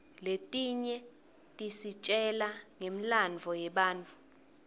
letinye tisitjela ngemlandvo yebatfu